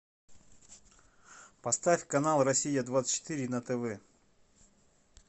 поставь канал россия двадцать четыре на тв